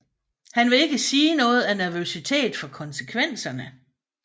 Han vil ikke sige noget af nervøsitet for konsekvenserne